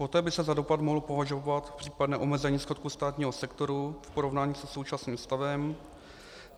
Poté by se za dopad mohlo považovat případné omezení schodku státního sektoru v porovnání se současným stavem.